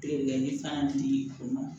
Degeli fana di kun ma